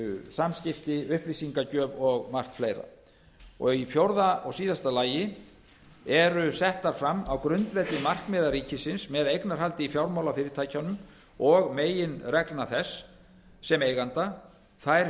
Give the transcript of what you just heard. samskipti upplýsingagjöf og margt fleira í fjögur og síðasta lagi eru settar fram á grundvelli markmiða ríkisins með eignarhaldi í fjármálafyrirtækjunum og meginreglna þess sem eiganda þær